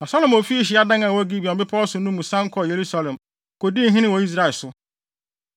Na Salomo fii hyiadan a ɛwɔ Gibeon bepɔw no so no mu san kɔɔ Yerusalem kodii hene wɔ Israel so.